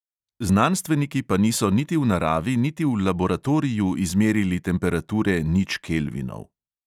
Znanstveniki pa niso niti v naravi niti v laboratoriju izmerili temperature nič kelvinov.